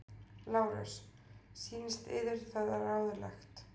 LÁRUS: Sýnist yður það ráðlegt?